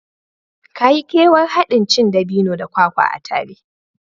Ka yi kewar haɗin cin dabino da kwakwa a tare